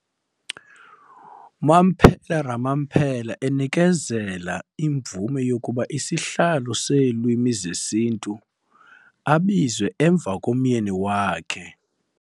Mampela Rampela enikezela imvume yokuba isihlalo seeLwimi zesiNtu abizwe emva komyeni wakhe.